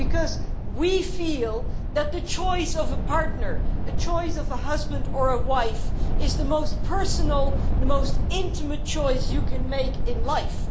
Because we feel that the choice of a partner, the choice of a husband or a wife is the most personal and intimate choice you can make in life.